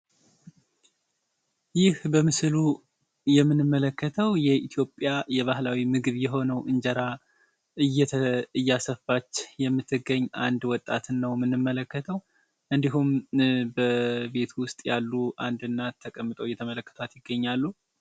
ይህ በምስሉ የምንመለከተው የኢትዮጵያ የባህላዊ ምግብ የሆነው እንጀራ እያሰፋች የምትገኝ አንድ ወጣትን ነው የምንመለከተው እንዲሁም በቤት ውስጥ ያሉ አንድ እናት እየተመለከቷት ይገኛሉ።